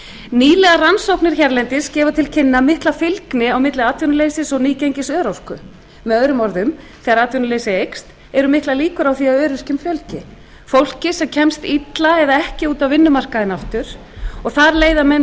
nýlegar rannsóknir hérlendis geta til kynna mikla fylgni á milli atvinnuleysis og misgengis örorku með öðrum orðum þegar atvinnuleysi eykst eru mjög miklar líkur á að öryrkjum fjölgi fólki sem kemst illa eða ekki út á vinnumarkaðinn aftur og þar leiða menn